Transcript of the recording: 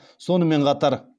сонымен қатар